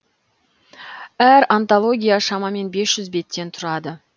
әр антология шамамен бес жүз беттен тұрады